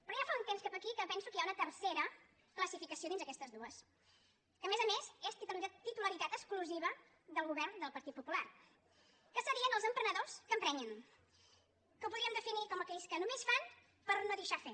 però de ja fa un temps cap aquí que penso que hi ha una tercera classificació dins d’aquestes dues que a més a més és titularitat exclusi·va del govern del partit popular que serien els empre·nedors que emprenyen que ho podríem definir com aquells que només fan per no deixar fer